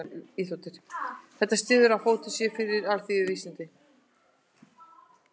Þetta styður að fótur sé fyrir alþýðuvísindunum.